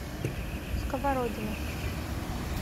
сковородино